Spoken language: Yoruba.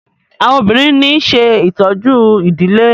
àwọn obìrin ní ṣe ìtọjú idilé.